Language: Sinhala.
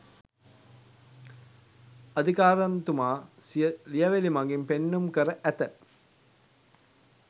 අදිකාරම්තුමා සිය ලියැවිලි මඟින් පෙන්නුම් කර ඇත